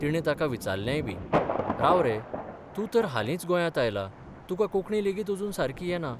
तिणे ताका विचारलेंयबी राव रे, तूं तर हालींच गोंयांत आयला तुका कोंकणी लेगीत अजून सारकी येना.